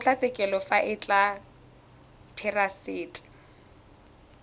kgotlatshekelo fa e le therasete